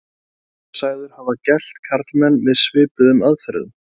hann er sagður hafa gelt karlmenn með svipuðum aðferðum